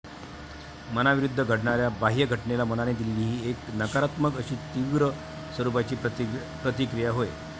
मनाविरुद्ध घडणाऱ्या बाह्य घटनेला मनाने दिलेली ती एक नकारात्मक अशी तीव्र स्वरूपाची प्रतिक्रिया होय.